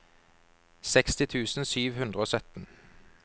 seksti tusen sju hundre og sytten